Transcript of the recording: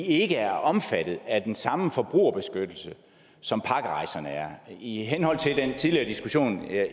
ikke er omfattet af den samme forbrugerbeskyttelse som pakkerejserne er i henhold til den tidligere diskussion